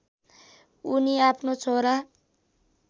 उनी आफ्नो छोरा